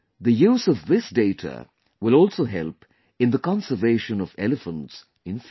The use of this data will also help in the conservation of elephants in future